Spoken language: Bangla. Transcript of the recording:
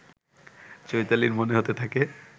চৈতালীর মনে হতে থাকে